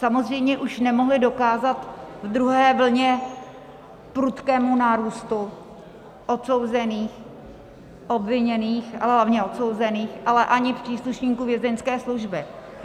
Samozřejmě už nemohli dokázat v druhé vlně prudkému nárůstu odsouzených, obviněných, ale hlavně odsouzených, ale ani příslušníků Vězeňské služby.